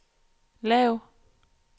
lav